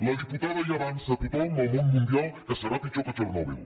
la diputada ja avança a tothom al món mundial que serà pitjor que txernòbil